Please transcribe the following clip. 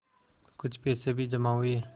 कुछ पैसे भी जमा हुए